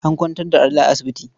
An kwantar da Ali a asibiti.